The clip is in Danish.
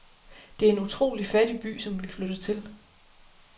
Det er en utrolig fattig by, som vi flytter til.